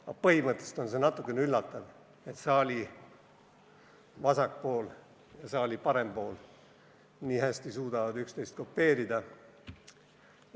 Aga põhimõtteliselt on natuke üllatav, et saali vasak pool ja saali parem pool suudavad üksteist nii hästi kopeerida.